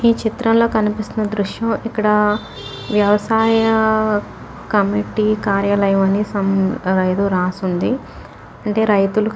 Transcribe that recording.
ఈచిత్రంలో కనిపిస్తున్న దృశ్యం ఇక్కడ వ్యవసాయ కమిటీ కార్యాలయం అని సమ్ అ యేదో రాసుంది . అంటే రతులకి --